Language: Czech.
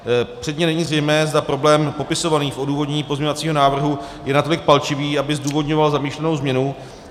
Předně není zřejmé, zda problém popisovaný v odůvodnění pozměňovacího návrhu je natolik palčivý, aby zdůvodňoval zamýšlenou změnu.